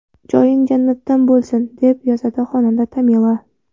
Joying jannatdan bo‘lsin”, deb yozadi xonanda Tamila.